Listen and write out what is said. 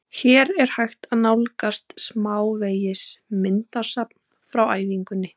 Hér er hægt að nálgast smávegis myndasafn frá æfingunni: